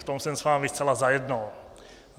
V tom jsem s vámi zcela zajedno.